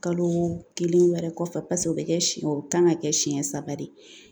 Kalo kelen wɛrɛ kɔfɛ paseke o bɛ kɛ o kan ka kɛ senɲɛ saba de ye .